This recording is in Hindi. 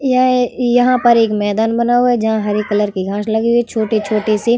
यह यहाँ पर एक मैंदान बना हुआ है जहाँ हरे कलर की घांस लगी हुवी है छोटे-छोटे सी।